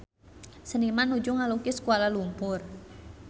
Seniman nuju ngalukis Kuala Lumpur